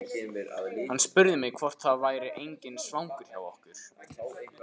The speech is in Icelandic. Hann spurði mig hvort það væri enginn svangur hjá okkur.